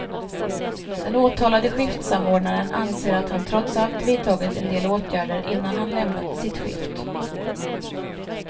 Den åtalade skiftsamordnaren anser att han trots allt vidtagit en del åtgärder innan han lämnade sitt skift.